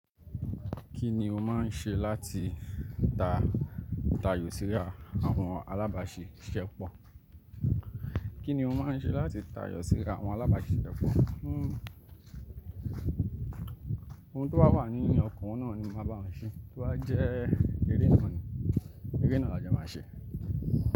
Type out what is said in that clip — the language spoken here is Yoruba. Kí ni o máa ń ṣe láti ta ta yọ síra àwọn alábàáṣe ṣepọ? Kí ni o máa ń ṣe láti ta yọ síra àwọn alábàáṣe ṣepọ? Ohun tó bá wà ní ọkàn náà ni màá bá wọn ṣe. To bá jẹ́ eré náà ni, eré náà lajẹ́ máa ṣe.